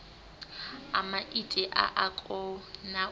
a maiti a a konau